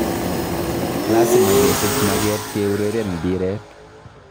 Lasima kesiich mageet keureren mbireet